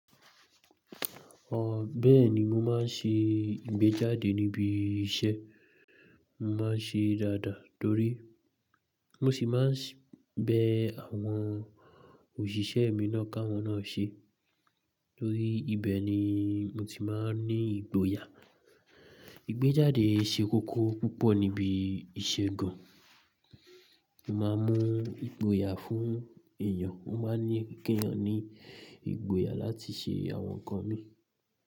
Ọ̀, bẹ́ẹ̀ni mo máa ń ṣe ìgbéjáde níbi iṣẹ́. Mo máa ń ṣe é dáadáa torí mo sì máa ń bẹ àwọn òṣìṣẹ́ mi náà ká wọn náà ṣe torí ibẹ̀ ni mo ti máa ń ní ìgboyà. Ìgbéjáde ṣe kókó púpọ̀ níbi ìṣègùn. Mo máa ń mú ìgboyà fún èèyàn. Mo máa ń ní kí èèyàn ní ìgboyà láti ṣe àwọn nǹkan mi.